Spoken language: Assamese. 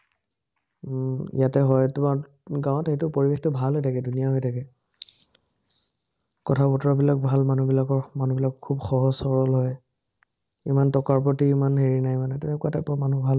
উম ইয়াতে হয় তোমাৰ, গাঁৱত সেইটো পৰিবেশটো ভাল হৈ থাকে, ধুনীয়া হৈ থাকে। কথা-বতৰাবিলাক ভাল মানুহবিলাকৰ, মানুহবিলাক খুব সহজ-সৰল হয়। ইমান টকাৰ প্ৰতি ইমান হেৰি নাই মানে, এনেকুৱা টাইপৰ মানুহ ভাল